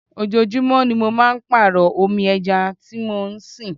Ojoojúmó ni mo máa ń pàrọ omi ẹja tí mo ń sìn.